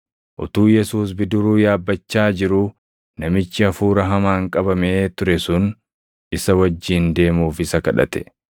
Utuu Yesuus bidiruu yaabbachaa jiruu namichi hafuura hamaan qabamee ture sun isa wajjin deemuuf isa kadhate.